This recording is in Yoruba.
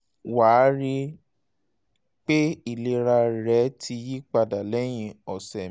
wà á rí rí i pé ìlera rẹ ti yí padà lẹ́yìn ọ̀sẹ̀ méjì